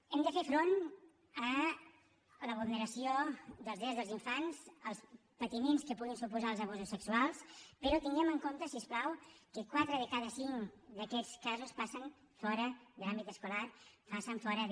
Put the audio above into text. hem de fer front a la vulneració dels drets dels infants als patiments que puguin suposar els abusos sexuals però tinguem en compte si us plau que quatre de cada cinc d’aquests casos passen fora de l’àmbit escolar passen fora de